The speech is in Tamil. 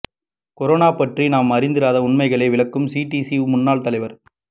கொரோனா பற்றி நாம் அறிந்திராத உண்மைகளை விளக்கும் சிடிசி முன்னாள் தலைவர்